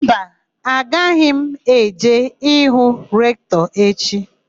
Mba, agaghị m eje hụ Rektọ echi.